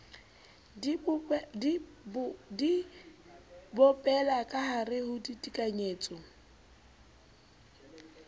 di bopella kahare ho ditekanyetso